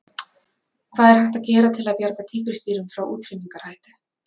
Hvað er hægt að gera til að bjarga tígrisdýrum frá útrýmingarhættu?